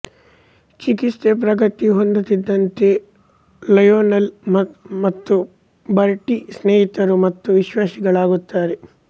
ಚಿಕಿತ್ಸೆ ಪ್ರಗತಿ ಹೊಂದುತ್ತಿದ್ದಂತೆ ಲಯೋನೆಲ್ ಮತ್ತು ಬರ್ಟೀ ಸ್ನೇಹಿತರು ಮತ್ತು ವಿಶ್ವಾಸಿಗಳಾಗುತ್ತಾರೆ